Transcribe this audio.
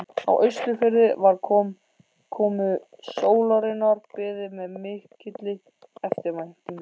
Á Austurfirði var komu sólarinnar beðið með mikilli eftirvæntingu.